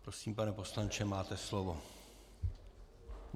Prosím, pane poslanče, máte slovo.